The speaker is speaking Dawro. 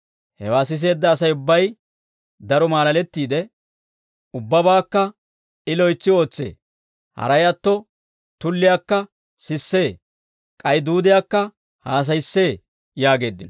Hewaa siseedda Asay ubbay daro maalalettiide, «Ubbabaakka I loytsi ootsee. Haray atto tulliyaakka sissee; k'ay duudiyaakka haasayissee» yaageeddino.